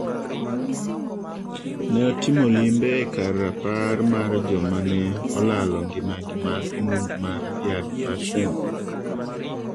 Ne otimo limbe e kar rapar mar joma ne olalo ngimagi bang' monj mar Yad Vashem.